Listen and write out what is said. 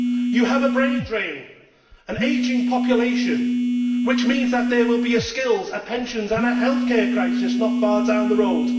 You have a brain drain, an ageing population, which means that there will be a skills, pensions and healthcare crisis not far down the road.